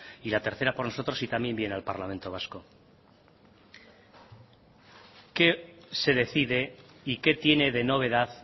y la tercera por nosotros y también viene al parlamento vasco qué se decide y qué tiene de novedad